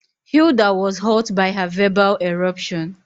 Hilda was hurt by her verbal eruption